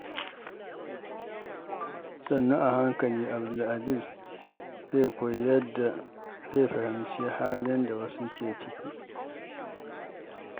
Sannu a hankali, Abdul zai koyi yadda zai fahimci halin da wasu ke ciki.